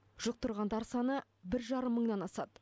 жұқтырғандар саны бір жарым мыңнан асады